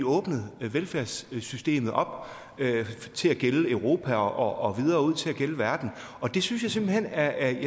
åbnet velfærdssystemet op til at gælde europa og videre ud til at gælde verden og det synes jeg simpelt hen er